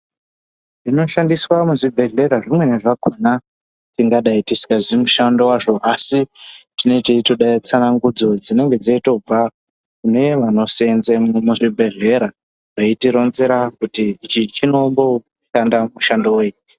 Zvinoshandiswa muzvibhedhlera zvimweni zvakona tingadai tisingazii mushando vazvo. Asi tinee teitoda tsanangudzo dzinenge dzeitobva kune vanosenzemwo muzvibhedhlera veitironzera kuti ichi chinomboshanda mushando vei.